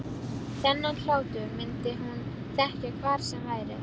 Þennan hlátur myndi hún þekkja hvar sem væri.